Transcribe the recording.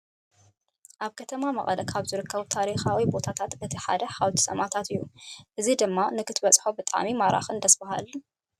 ኣብ ከተማ መቐለ ካብ ዝርከቡ ታሪካዊ ቦታታት እቲ ሓደ ሓወልቲ ሰማእታት እዩ። እዚ ድማ ንክትህውፆ ብጣዕሚ ማራኽን ደስ ባሃልን እዩ።